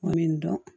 Komi n dɔn